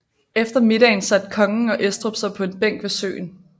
Efter middagen satte kongen og Estrup sig på en bænk ved søen